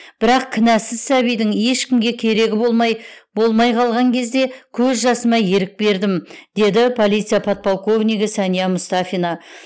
бірақ кінәсіз сәбидің ешкімге керегі болмай болмай қалған кезде көз жасыма ерік бердім деді полиция подполковнигі сәния мұстафина